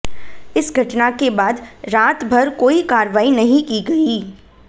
इस घटना के बाद रात भर कोई कार्रवाई नहीं की गई